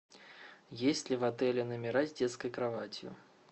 есть ли в отеле номера с детской кроватью